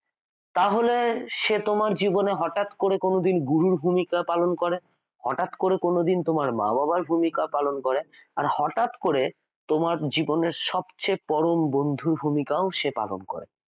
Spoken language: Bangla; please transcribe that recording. তাহলে সে তোমার জীবনে হঠাৎ করে কোনদিন গুরুর ভূমিকা পালন করে হঠাৎ করে কোনদিন তোমার মা-বাবার ভূমিকা পালন করে আর হঠাৎ করে তোমার জীবনের সবচেয়ে পরম বন্ধুর ভূমিকাও সে পালন করে